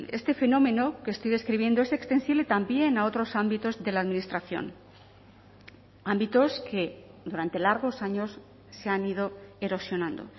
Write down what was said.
este fenómeno que estoy describiendo es extensible también a otros ámbitos de la administración ámbitos que durante largos años se han ido erosionando